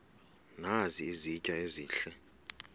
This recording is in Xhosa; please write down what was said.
nazi izitya ezihle